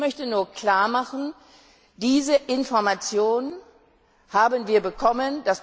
Das möchte ich klar machen Diese Information haben wir bekommen.